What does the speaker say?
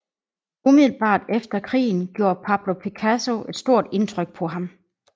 Umiddelbart efter krigen gjorde Pablo Picasso et stort indtryk på ham